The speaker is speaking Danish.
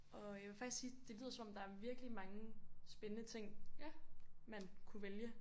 Og jeg vil faktisk sige det lyder som om der er virkelig mange spændende ting man kunne vælge